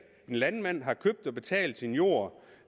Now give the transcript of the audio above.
en landmand har købt og betalt sin jord